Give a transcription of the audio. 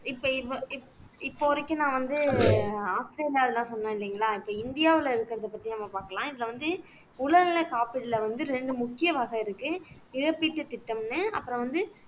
இப்ப இப்ப இப்ப வரைக்கும் நான் வந்து ஆஸ்திரேலியா இதெல்லாம் சொன்னேன் இல்லைங்களா இப்ப இந்தியாவுல இருக்கிறதைப் பத்தி நம்ம பாக்கலாம் இதுல வந்து உடல்நல காப்பீடுல வந்து ரெண்டு முக்கிய வகை இருக்கு இழப்பீட்டு திட்டம்ன்னு அப்புறம் வந்து